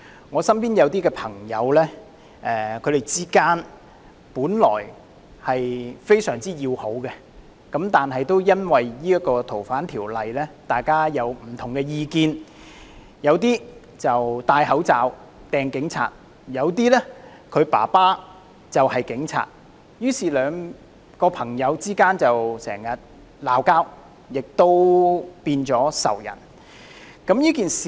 我身邊有朋友本來大家的關係非常要好，但也因為《逃犯條例》的修訂而有不同意見，有些戴上口罩向警察投擲物件，有些的父親是警察，於是朋友之間經常爭吵，變成仇人。